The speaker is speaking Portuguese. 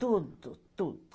Tudo, tudo.